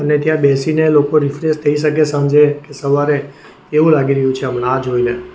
કે ત્યાં બેસીને લોકો રિફ્રેશ થઈ શકે સાંજે કે સવારે એવું લાગી રહ્યું છે હમણાં આ જોઈને.